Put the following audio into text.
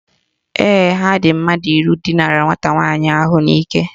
Ee, ha dị mmadụ iri dinara nwata nwaanyị ahụ n'ike